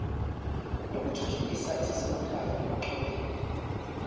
lokuthuthukisa ezasemakhaya oluxhumene